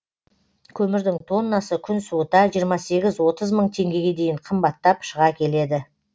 көмірдің тоннасы күн суыта жиырма сегіз отыз мың теңгеге дейін қымбаттап шыға келеді